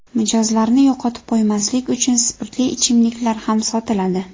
Mijozlarni yo‘qotib qo‘ymaslik uchun spirtli ichimliklar ham sotiladi.